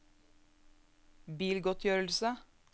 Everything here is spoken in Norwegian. bilgodtgjørelse